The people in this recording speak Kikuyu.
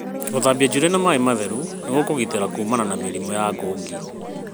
Gũthambia njuĩrĩ na maĩ matheru nĩgũkũgitĩra kuumana na mĩrimũ ya ngungi.